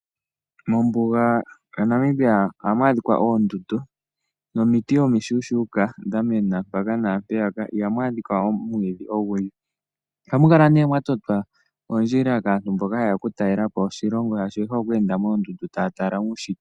Mombuga yaNamibia ohamu adhika oondundu nomiti omi shuushuuka dhamena mpaka naampeyaka. Ihamu adhika omwiidhi ogundji. Ohamu kala nee mwa totwa oondjila kaantu mboka haye ya okutalela po oshilongo, shaashi oye hole okweenda moondundu taya tala uunshitwe.